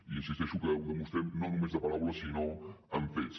i hi insisteixo que ho demostrem no només amb paraules sinó amb fets